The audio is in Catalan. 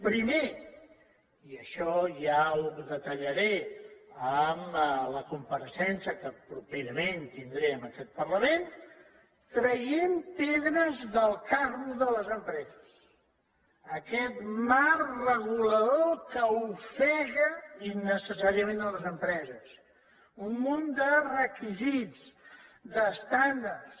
primer i això ja ho detallaré en la compareixença que properament tindré en aquest parlament traient pedres del carro de les empreses aquest marc regulador que ofega innecessàriament les empreses un munt de requisits d’estàndards